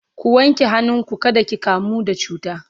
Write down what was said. ku wanke hannu ku kada ki kamu da cuta!